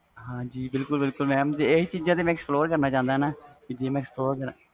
ਬਿਲਕੁਲ ਬਿਲਕੁਲ mam ਮੈਂ ਚੀਜ਼ਾਂ ਤੇ explore ਕਰਨਾ ਚਾਹੁੰਦਾ